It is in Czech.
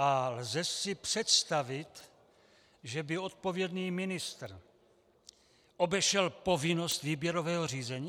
A lze si představit, že by odpovědný ministr obešel povinnost výběrového řízení?